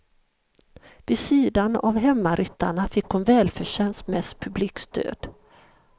Vid sidan av hemmaryttarna fick hon välförtjänt mest publikstöd.